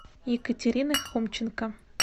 екатерины хомченко